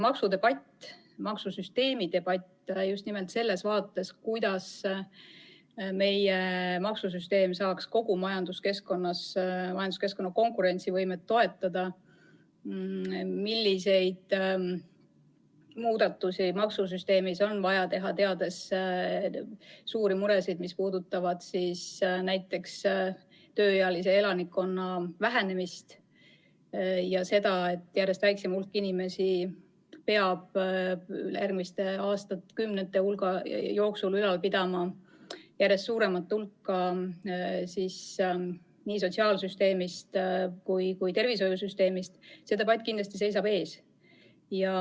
Maksudebatt ja maksusüsteemi debatt just nimelt selles vaates, kuidas meie maksusüsteem saaks kogu majanduskeskkonna konkurentsivõimet toetada, milliseid muudatusi maksusüsteemis on vaja teha, teades suuri muresid, mis puudutavad näiteks tööealise elanikkonna vähenemist ja seda, et järjest väiksem hulk inimesi peab järgmiste aastakümnete jooksul ülal pidama järjest suuremat osa nii sotsiaalsüsteemist kui ka tervishoiusüsteemist – see debatt kindlasti seisab ees.